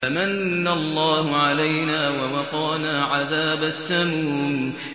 فَمَنَّ اللَّهُ عَلَيْنَا وَوَقَانَا عَذَابَ السَّمُومِ